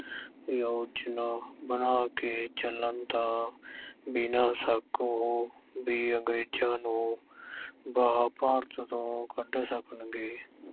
ਯੋਜਨਾ ਬਣਾ ਕੇ ਚੱਲਣ ਤਾਂ ਬਿਨਾਂ ਸ਼ੱਕ ਉਹ ਵੀ ਅੰਗਰੇਜ਼ਾਂ ਨੂੰ ਬਾਹਰ ਭਾਰਤ ਤੋਂ ਕੱਢ ਸਕਣਗੇ।